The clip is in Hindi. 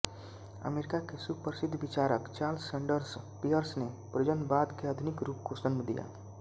अमेरिका के सुप्रसिद्ध विचारक चार्ल्स सैन्डर्स पियर्स ने प्रयोजनवाद के आधुनिक रूप को जन्म दिया